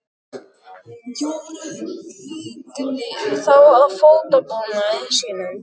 Jóra hugaði þá að fótabúnaði sínum.